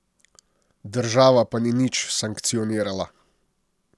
Država pa ni nič sankcionirala.